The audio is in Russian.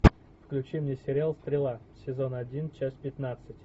включи мне сериал стрела сезон один часть пятнадцать